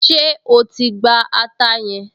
Ṣé o ti gba ata yẹn?